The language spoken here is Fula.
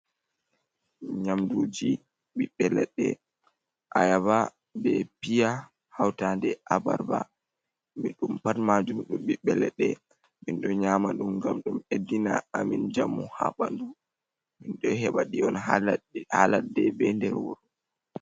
Nyamduuji ɓiɓɓe leɗɗe, ayaba bee piya, hawtaande abarbaa mi ɗum pat maajum ɓiɓɓe leɗɗe, min ɗo nyaama ɗum gam ɗum ɓeddina amin njamu haa ɓandu min ɗo heɓa ɗum on haa ladde be nder wuro.